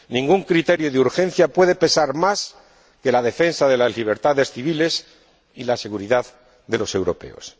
Ningún criterio de urgencia puede pesar más que la defensa de las libertades civiles y la seguridad de los europeos.